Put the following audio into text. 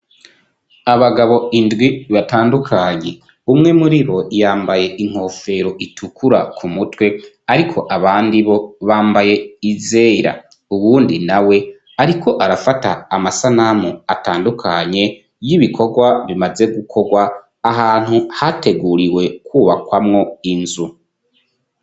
Abagabo indwi batandukanye, umwe muri bo yambaye inkofero itukura ku mutwe, ariko abandi bo bambaye izera, uwundi nawe ariko arafata amasanamu atandukanye y'ibikorwa bimaze gukorwa ahantu hateguriwe kwubakwamwo inzu.